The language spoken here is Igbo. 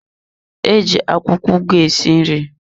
Eji akwụkwọ ugu esi nri.